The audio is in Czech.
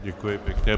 Děkuji pěkně.